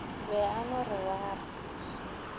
be a no re waar